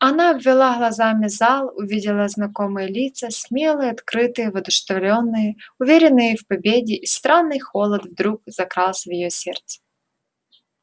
она обвела глазами зал увидела знакомые лица смелые открытые воодушевлённые уверенные в победе и странный холод вдруг закрался в её сердце